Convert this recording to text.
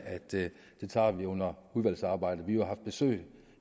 at det tager vi under udvalgsarbejdet vi har jo haft besøg